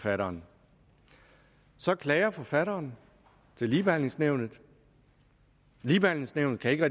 forfatteren så klager forfatteren til ligebehandlingsnævnet ligebehandlingsnævnet kan ikke